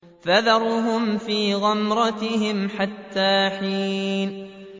فَذَرْهُمْ فِي غَمْرَتِهِمْ حَتَّىٰ حِينٍ